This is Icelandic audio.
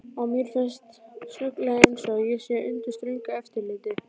Og mér finnst snögglega einsog ég sé undir ströngu eftirliti.